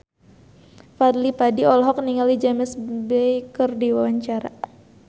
Fadly Padi olohok ningali James Bay keur diwawancara